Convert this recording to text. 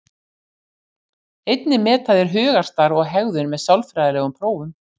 Einnig meta þeir hugarstarf og hegðun með sálfræðilegum prófum.